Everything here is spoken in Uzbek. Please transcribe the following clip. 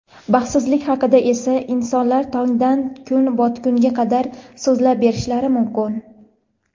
Baxtsizlik haqida esa insonlar tongdan kun botgunga qadar so‘zlab berishlari mumkin..